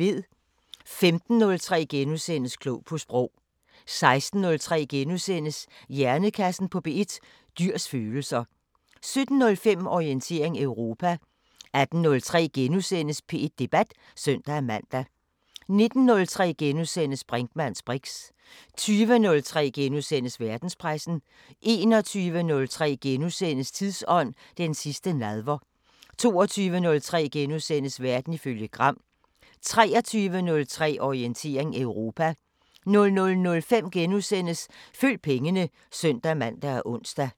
15:03: Klog på Sprog * 16:03: Hjernekassen på P1: Dyrs følelser * 17:05: Orientering Europa 18:03: P1 Debat *(søn-man) 19:03: Brinkmanns briks * 20:03: Verdenspressen * 21:03: Tidsånd: Den sidste nadver * 22:03: Verden ifølge Gram * 23:03: Orientering Europa 00:05: Følg pengene *(søn-man og ons)